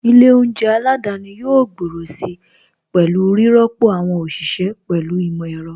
Ilé oúnjẹ aládani yóò gbòòrò si pẹ̀lú rírọ́pò àwọn òṣìṣẹ́ pẹ̀lú ìmọ̀ ẹ̀rọ.